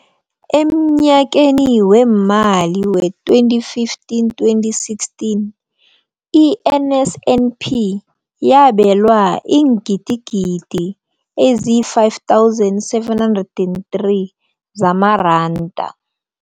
Emnyakeni weemali we-2015, 2016, i-NSNP yabelwa iingidigidi ezi-5 703 zamaranda.